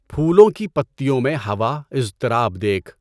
پھولوں کی پَتّیوں میں ہوا اِضطراب دیکھ